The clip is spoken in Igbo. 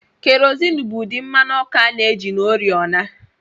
Kerosene bụ ụdị mmanụ ọkụ a na-eji na oriọna